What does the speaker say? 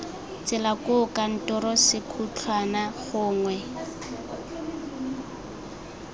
tsela koo kantoro sekhutlhwana gongwe